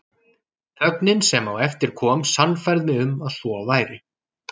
Þögnin sem á eftir kom sannfærði mig um að svo væri.